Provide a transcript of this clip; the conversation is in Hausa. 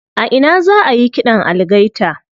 A ina za ayi ƙidan algaita?